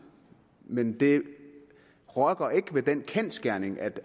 men det rokker ikke ved den kendsgerning at